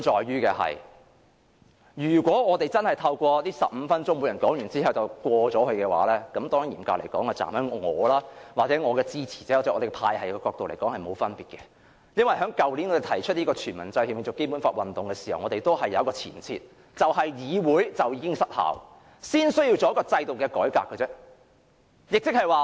如果我們真的透過這15分鐘作出討論，每人說完後便通過修訂，嚴格來說，從我或我的支持者的角度來看，是沒有分別的，因為我們去年提出"全民制憲永續《基本法》"運動時，已有一個前設，就是議會已經失效，因此才需要作出制度的改革。